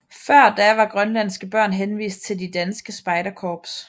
Før da var grønlandske børn henvist til de danske spejderkorps